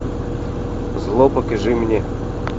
зло покажи мне